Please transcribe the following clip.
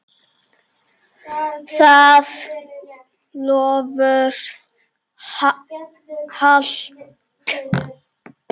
Það loforð halt.